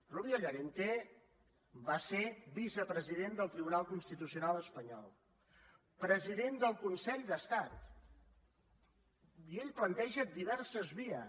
rubio llorente va ser vicepresident del tribunal constitucional espanyol president del consell d’estat i ell planteja diverses vies